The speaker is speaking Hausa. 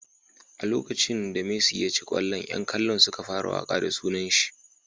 A lokacin da Messi ya ci kwallon yan kallon suka fara waka da sunanshi.